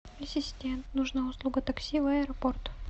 ассистент нужна услуга такси в аэропорт